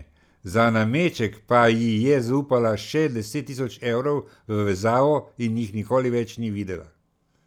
Za nameček pa ji je zaupala še deset tisoč evrov v vezavo in jih nikoli več ni videla.